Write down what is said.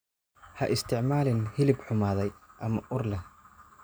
Ha isticmaalin hilib xumaaday ama ur leh.